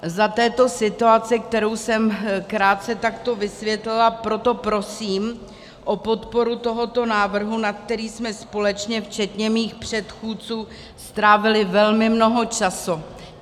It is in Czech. Za této situace, kterou jsem krátce takto vysvětlila, proto prosím o podporu tohoto návrhu, na který jsme společně včetně mých předchůdců strávili velmi mnoho času.